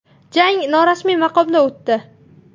Jang norasmiy maqomda o‘tdi.